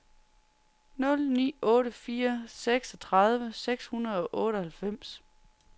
nul ni otte fire seksogtredive seks hundrede og otteoghalvfems